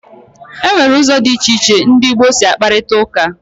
Enwere ụzọ dị iche iche ndị gboo si akparita ụka.